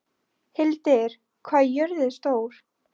Hildir, hvað er jörðin stór?